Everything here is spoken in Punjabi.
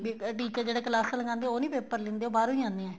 ਵੀ ਇਹ teacher ਜਿਹੜੇ ਕਲਾਸਾਂ ਲਗਾਦੇ ਨੇ ਉਹ ਨਹੀਂ paper ਲਹਿੰਦੇ ਬਾਹਰੋ ਹੀ ਆਣੇ ਹੈ